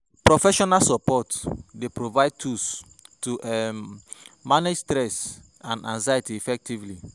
Professional support dey provide tools to um manage stress and anxiety effectively.